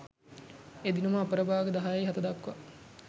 එදිනම අපරභාග 10.07 දක්වා